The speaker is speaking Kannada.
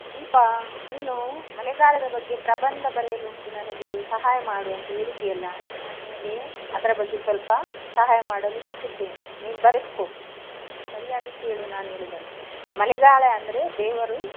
ದೀಪಾ ನೀನು ಮಳೆಗಾಲದ ಬಗ್ಗೆ ಪ್ರಬಂಧ ಬರೆಯಲುಂಟು ನನಗೆ ಸಹಾಯ ಮಾಡು ಅಂತ ಹೇಳಿದ್ದಿ, ಅಲ್ಲಾ? ನಾನು ನಿನಗೆ ಅದರ ಬಗ್ಗೆ ಸ್ವಲ್ಪ ಸಹಾಯ ಮಾಡಲು ಇಚ್ಚಿಸುತ್ತೇನೆ. ನೀನು ಬರೆದುಕೋ ಸರಿಯಾಗಿ ಕೇಳು ನಾನು ಹೇಳುವುದನ್ನು. ಮಳೆಗಾಲ ಅಂದ್ರೆ ದೇವರು.